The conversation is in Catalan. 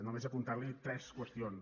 només apuntar li tres qüestions